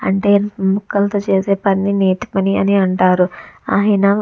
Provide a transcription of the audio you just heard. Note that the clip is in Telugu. ముక్కలతో చేసే పనిని నేతి పని అంటారు అయినా.